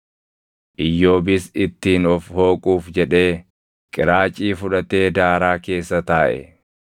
Iyyoobis ittiin of hooquuf jedhee qiraacii fudhatee daaraa keessa taaʼe.